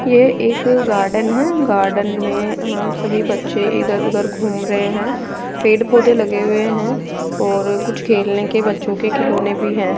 यह एक गार्डन है गार्डन में हम सभी बच्चे इधर उधर घूम रहे हैं पेड़ पौधे लगे हुए हैं और कुछ खेलने के बच्चों के खिलौने भी हैं।